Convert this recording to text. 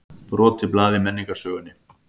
Brotið blað í menningarsögunni